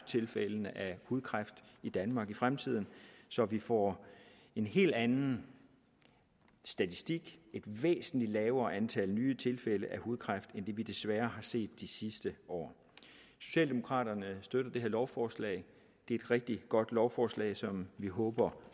tilfældene af hudkræft i danmark i fremtiden så vi får en helt anden statistik et væsentlig lavere antal nye tilfælde af hudkræft end det vi desværre har set de sidste år socialdemokraterne støtter det her lovforslag det er et rigtig godt lovforslag som vi håber